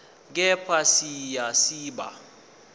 kepha siya siba